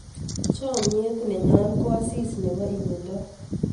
chamiet nenyo ko asis nebo imendoo